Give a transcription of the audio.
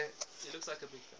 jerry lee lewis